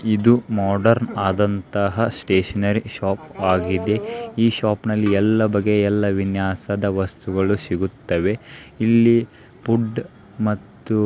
ಇದು ಮಾಡ್ರನ್ ಆದಂತಹ stationery shop ಆಗಿದೆ ಈ ಶೋಪಿನಲ್ಲಿ ಎಲ್ಲಾ ಬಗೆಯ ಎಲ್ಲಾ ವಿನ್ಯಾಸದ ವಸ್ತುಗಳು ಸಿಗುತ್ತವೆ ಇಲ್ಲಿ ಫುಡ್ ಮತ್ತು --